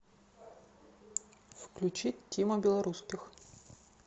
включить тима белорусских